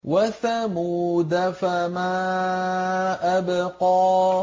وَثَمُودَ فَمَا أَبْقَىٰ